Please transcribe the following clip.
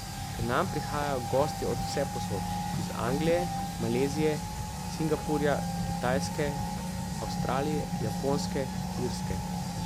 K nam prihajajo gostje od vsepovsod, iz Anglije, Malezije, Singapurja, Kitajske, Avstralije, Japonske, Irske ...